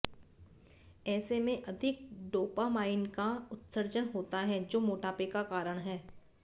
ऐसे में अधिक डोपामाइन का उत्सर्जन होता है जो मोटापे का कारण है